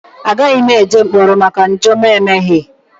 Agaghị m eje mkpọrọ maka njọ m emeghị.